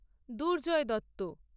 Durjoy Dutta